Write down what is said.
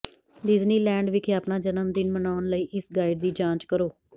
Disneyland ਵਿਖੇ ਆਪਣਾ ਜਨਮਦਿਨ ਮਨਾਉਣ ਲਈ ਇਸ ਗਾਈਡ ਦੀ ਜਾਂਚ ਕਰੋ